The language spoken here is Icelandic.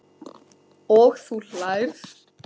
Og þú hlærð?